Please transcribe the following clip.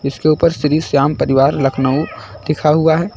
इसके ऊपर श्री श्याम परिवार लखनऊ लिखा हुआ है।